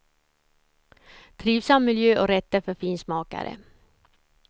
Trivsam miljö och rätter för finsmakare.